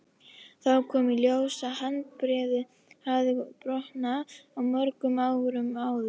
Þá kom í ljós að handarbeinið hafði brotnað mörgum árum áður.